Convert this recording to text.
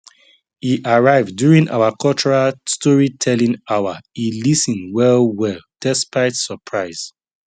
e arrive during our cultural storytelling hour e lis ten well well despite surprise